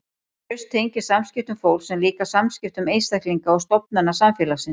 Traust tengist samskiptum fólks en líka samskiptum einstaklinga og stofnana samfélagsins.